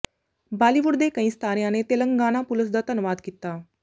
ਬਾਲੀਵੁੱਡ ਦੇ ਕਈ ਸਿਤਾਰਿਆਂ ਨੇ ਤੇਲੰਗਾਨਾ ਪੁਲਸ ਦਾ ਧੰਨਵਾਦ ਕੀਤਾ